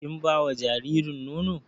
Kin bawa jaririn nono?